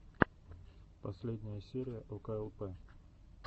последняя серия оклп